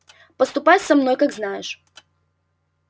поступай со мной как знаешь